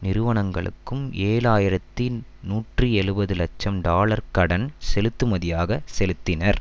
நிறுவனங்களுக்கும் ஏழு ஆயிரத்தி நூற்றி எழுபது லட்சம் டாலர்களை கடன் செலுத்துமதியாக செலுத்தினர்